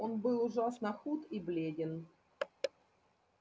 он был ужасно худ и бледен